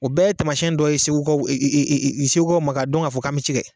O bɛɛ ye tamasɛn dɔ ye segukaw e e e segukaw ma k'a dɔn k'a fɔ k'an be ci kɛ